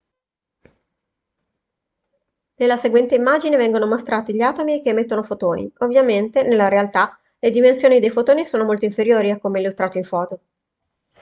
nella seguente immagine vengono mostrati gli atomi che emettono fotoni ovviamente nella realtà le dimensioni dei fotoni sono molto inferiori a come illustrato in foto